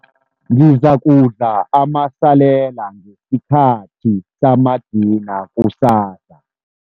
Ngizakudla amasalela ngesikhathi samadina kusasa.